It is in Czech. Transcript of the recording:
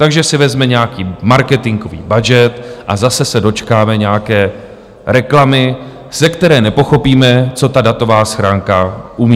Takže si vezme nějaký marketingový budget a zase se dočkáme nějaké reklamy, ze které nepochopíme, co ta datová schránka umí.